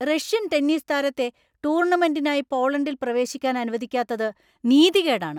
Russian tennis താരത്തെ ടൂർണമെന്‍റിനായി പോളണ്ടിൽ പ്രവേശിക്കാൻ അനുവദിക്കാത്തത് നീതികേടാണ്‌.